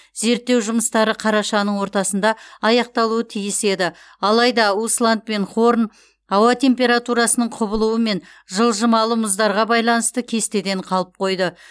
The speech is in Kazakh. зерттеу жұмыстары қарашаның ортасында аяқталуы тиіс еді алайда усланд пен хорн ауа температурасының құбылуы мен жылжымалы мұздарға байланысты кестеден қалып қойды